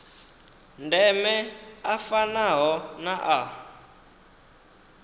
ndeme a fanaho na a